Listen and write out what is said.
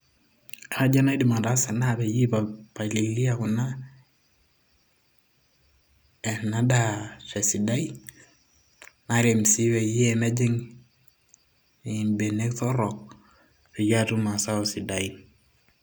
kaaji enaidim ataasa na peyie aipalilia kuna ena daa tesidai narem sii peyie mejing imbenek torrok.